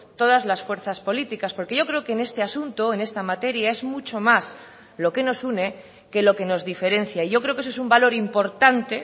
todas las fuerzas políticas porque yo creo que en este asunto en esta materia es mucho más lo que nos une que lo que nos diferencia yo creo que eso es un valor importante